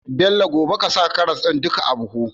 Bello gobe ƙasa duka karas din nan a buhu